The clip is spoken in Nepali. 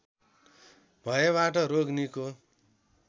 भएबाट रोग निको